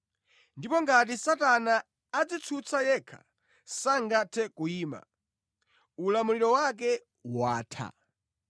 Ndipo ngati Satana adzitsutsa yekha sangathe kuyima; ulamuliro wake watha.